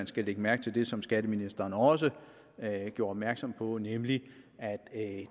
skal lægge mærke til det som skatteministeren også gjorde opmærksom på nemlig at